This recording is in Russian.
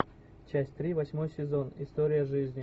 часть три восьмой сезон история жизни